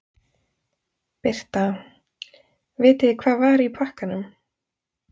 Birta: Vitið þið hvað var í pakkanum?